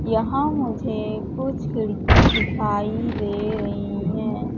यहां मुझे कुछ खिड़की दिखाई दे रही हैं।